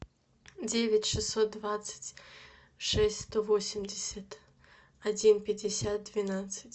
девять шестьсот двадцать шесть сто восемьдесят один пятьдесят двенадцать